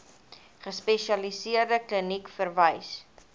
gespesialiseerde kliniek verwys